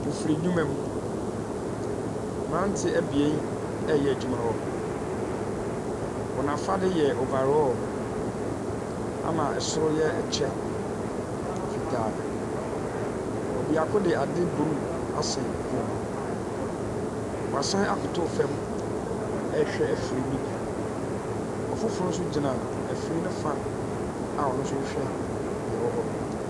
Mfiri ndwuma mu, mmeranteɛ mmienu ɛreyɛ adwuma wɔ hɔ. Wɔn afade yɛ overall, ɛna soro no yɛ ɛkyɛ fitaa. Ɔbaako de ade bruu asan ne kɔn mu. Wɔasan akoto famu ɛrehwɛ afiri no bi. Ɔfoforo nso gyina afiri ne fa a ɔno rehwɛ deɛ ɛwɔ hɔ no.